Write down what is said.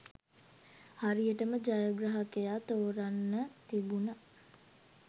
හරියටම ජයග්‍රාහකයා තෝරන්න තිබුන